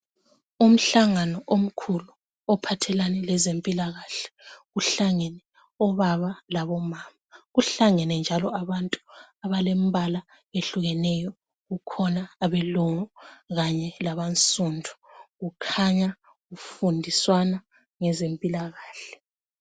Umhlangano omkhulu ophathelane lezempilakahle, kuhlangene obaba labomama .Kuhlangene njalo abantu abalembala ehlukeneyo. Kukhona abelungu kanye labansundu, kukhanya kufundiswana ngezempilakahle.